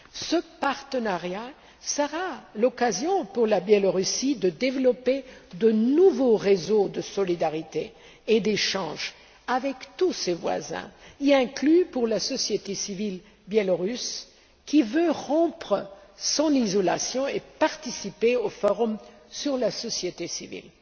Ce partenariat sera l'occasion pour le Belarus de développer de nouveaux réseaux de solidarité et d'échange avec tous ses voisins, y compris pour la société civile biélorusse qui veut rompre son isolement et participer au forum sur la société civile.